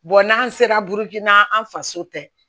n'an sera burukina an faso tɛ